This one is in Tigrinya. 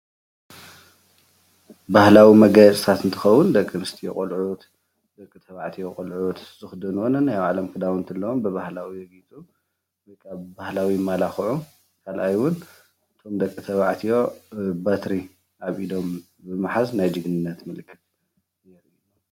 ባህላዊ መጋየፅታት እንትኸውን ደቂኣንስትዮ ቆልዑት፣ ደቂተባዕትዮ ቆልዑት ዝኽደንዎ ነናይ ባዕሎም ክዳውንቲ ኣለዎም ብባህላዊ ይጋየፁ ወይ ከዓ ብ ባህካዊ ይመላኽዑ ኻልኣይ እውን እቶሞ ደቂ ተባዕትዩ በትሪ ኣብ ኢዶም ብምሓዝ ናይ ጀግንነት ምልክት እዩ።